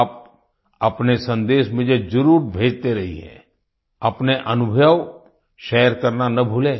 आप अपने संदेश मुझे ज़रूर भेजते रहिए अपने अनुभव शेयर करना ना भूलें